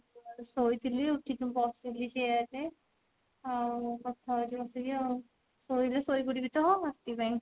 ଶୋଇଥିଲି ଉଠିକି ବସିଲି ଯିବା ପାଇଁ ଆଉ କଥା ହଉଛି ବସିକି ଆଉ ଶୋଇଲେ ଶୋଇପଡିବି ଗଲା ରାତି ପାଇଁ